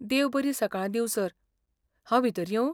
देव बरीं सकाळी दींव सर, हांव भितर येवं?